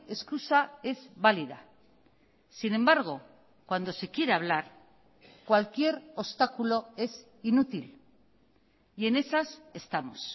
excusa es válida sin embargo cuando se quiere hablar cualquier obstáculo es inútil y en esas estamos